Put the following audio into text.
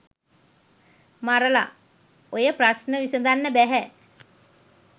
මරල ඔය ප්‍රශ්න විසදන්න බැහැ